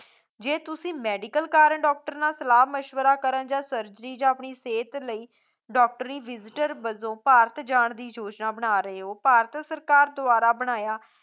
ਜੇ ਤੁਸੀ medical ਕਾਰਨ doctor ਨਾਲ ਸਲਾਹ ਮਸ਼ਵਰਾ ਕਰਨ ਜਾਂ ਸਰਜਰੀ ਜਾਂ ਆਪਣੀ ਸਹਿਤ ਲਈ ਡਾਕਟਰੀ visitor ਵਜੋਂ ਭਾਰਤ ਜਾਣ ਦੀ ਯੋਜਨਾ ਬਣਾ ਰਹੇ ਹੋ, ਭਾਰਤ ਸਰਕਾਰ ਦੁਆਰਾ ਬਣਾਇਆ